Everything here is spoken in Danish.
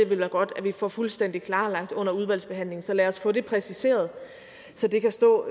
vil være godt at få fuldstændig klarlagt under udvalgsbehandlingen så lad os få det præciseret så det kan stå